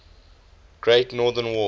great northern war